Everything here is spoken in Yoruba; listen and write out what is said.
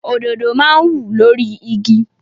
Òdodo máa ń wù lórí igi.